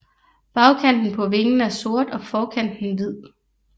Bagkanten på vingen er sort og forkanten hvid